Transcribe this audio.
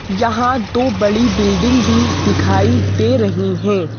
यहां दो बड़ी बिल्डिंग भी दिखाई दे रही हैं।